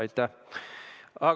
Aitäh!